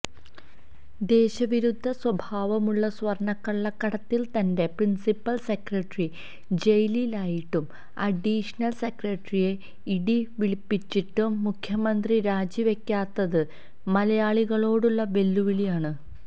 ദേശവിരുദ്ധ സ്വഭാവമുള്ള സ്വര്ണക്കള്ളക്കടത്തില് തന്റെ പ്രിന്സിപ്പല് സെക്രട്ടറി ജയിലിലായിട്ടും അഡീഷണല് സെക്രട്ടറിയെ ഇഡി വിളിപ്പിച്ചിട്ടും മുഖ്യമന്ത്രി രാജിവയ്ക്കാത്തത് മലയാളികളോടുള്ള വെല്ലുവിളിയാണ്